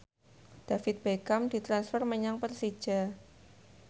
David Beckham ditransfer menyang Persija